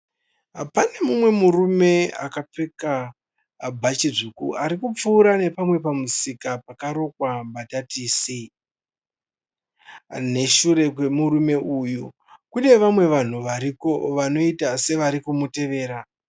Pane mumwe murume akafeka bhachi dzvuku ari kupfuura nepamwe pamusika pakarongwa mbatatisi. Neshure kwemurume uyu kune vamwe vanhu variko vanoita sevari kumutevera.